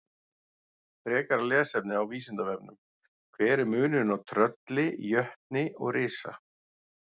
Frekara lesefni á Vísindavefnum: Hver er munurinn á trölli, jötni og risa?